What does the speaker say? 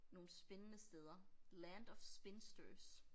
Nogle spændende steder. Land of Spinsters